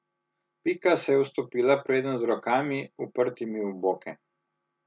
Pika se je ustopila predenj z rokami, uprtimi v boke.